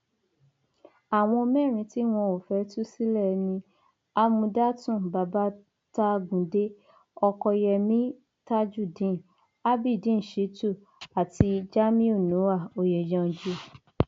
àwọn mẹrin tí wọn ò fẹẹ tú sílẹ ni amúdátún babatagùnde ọkọyẹmi tajudeen abiideen shitun àti jamiu noah oyenyanji